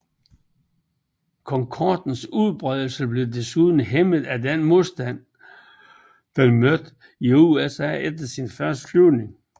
Concordens udbredelse blev desuden hæmmet af den modstand den mødte i USA efter sine første flyvninger